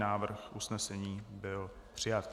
Návrh usnesení byl přijat.